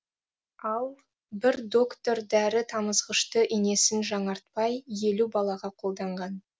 ал бір доктор дәрі тамызғышты инесін жаңартпай елу балаға қолданған